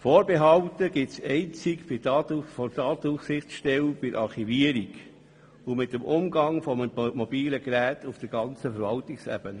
Vorbehalte gab es seitens der Datenschutzaufsichtsstelle einzig bei der Archivierung und dem Umgang mit mobilen Geräten auf der gesamten Verwaltungsebene.